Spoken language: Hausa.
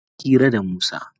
Ina hira da Musa.